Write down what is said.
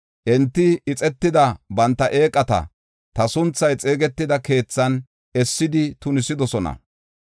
Enti ixetida banta eeqata ta sunthay xeegetida keethan essidi tunisidosona.